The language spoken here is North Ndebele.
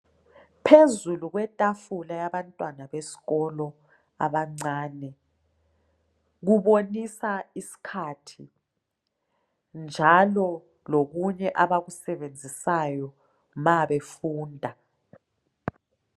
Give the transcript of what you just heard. Phezulu kwetafula yabantwana besikolo abancane, kubonisa isikhathi njalo lokunye abakusebenzisayo nxa befunda .